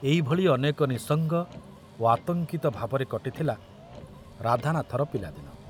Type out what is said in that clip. ଏଇ ଭଳି ଅନେକ ନିଃସଙ୍ଗ ଓ ଆତଙ୍କିତ ଭାବରେ କଟିଥିଲା ରାଧାନାଥର ପିଲାଦିନ।